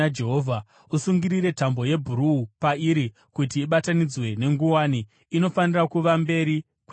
Usungire tambo yebhuruu pairi kuti ibatanidzwe nenguwani; inofanira kuva mberi kwenguwani.